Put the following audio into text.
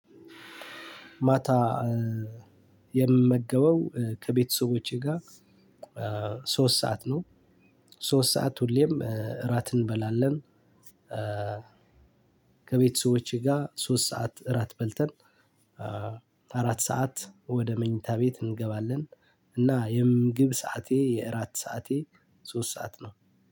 ማታ የምመገበው ከቤተሰቦቼ ጋር ሶስት ሰዓት ነው ሶስት ሰዓት ሁሌም እራት እንበላለን። ከቤተሰቦቼ ጋር ሶስት ሰዓት እራት በልተን አራት ሰዓት ወደ መኝታ ቤት እንገባለን። እና የምግብ ሰዓቴ የእራት ሰዓቴ ሶስት ሰዓት ነው።